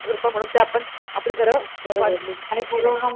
कृपा म्हणून ते आपण आपले घर वाचली हाय कि नाही.